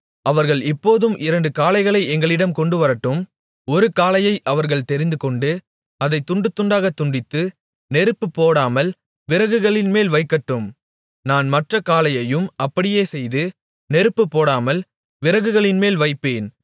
அவர்கள் இப்போதும் இரண்டு காளைகளை எங்களிடம் கொண்டுவரட்டும் ஒரு காளையை அவர்கள் தெரிந்துகொண்டு அதை துண்டுத் துண்டாகத் துண்டித்து நெருப்புப் போடாமல் விறகுகளின்மேல் வைக்கட்டும் நான் மற்றக் காளையையும் அப்படியே செய்து நெருப்புப் போடாமல் விறகுகளின்மேல் வைப்பேன்